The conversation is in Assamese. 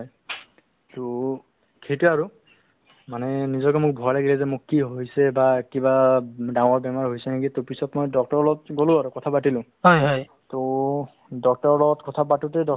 মোক মানে basically ধৰক ধৰক অ socially বা সামাজিক কামবোৰ কৰি মোক মানে বেছি ভাল লাগে so তেনেকুৱা আমাৰ অ এখন অ non অ ত non government organization মানে আপোনাৰ NGO